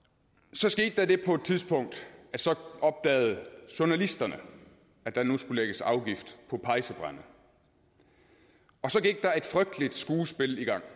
så skete der det på et tidspunkt at så opdagede journalisterne at der nu skulle lægges afgift på pejsebrænde og så gik der et frygteligt skuespil i gang